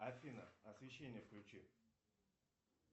афина освещение включи